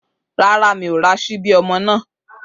Rárá, mi ò ra ṣíbí ọmọ náà.